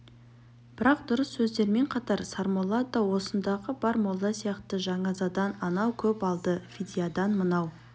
бірақ дұрыс сөздермен қатар сармолла да осындағы бар молда сияқты жаназадан анау көп алды фидиядан мынау